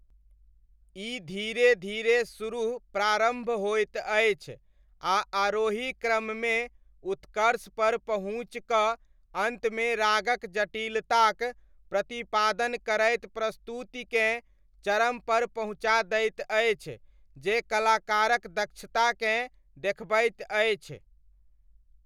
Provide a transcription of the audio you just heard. ई धीरे धीरे सुरुह प्रारम्भ होइत अछि आ आरोही क्रममे उत्कर्षपर पहुँचिकऽ अन्तमे रागक जटिलताक प्रतिपादन करैत प्रस्तुतिकेँ चरमपर पहुँचा दैत अछि जे कलाकारक दक्षताकेँ देखबैत अछि।